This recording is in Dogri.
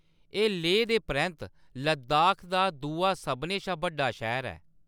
एह्‌‌ लेह दे परैंत्त लद्दाख दा दूआ सभनें शा बड्डा शैह्ऱ ऐ।